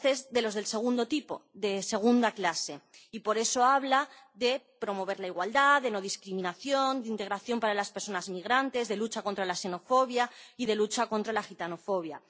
Claro, este es de los del segundo tipo —de segunda clase—, y por eso habla de promover la igualdad, de no discriminación, de integración para las personas migrantes, de lucha contra la xenofobia y de lucha contra la gitanofobia.